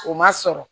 O ma sɔrɔ